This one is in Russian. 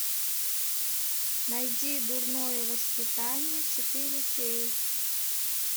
найди дурное воспитание четыре кей